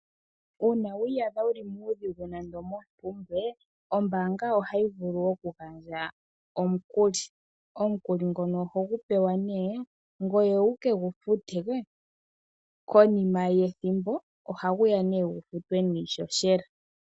Uuna wiiyadha wuli muudhigu nando mompumbwe ombaanga ohayi vulu oku gandja omukuli. Omukuli ngono oho gu pewa ne ngoye wukegu fute konima yethimbo oha guya gufutwe niihohela.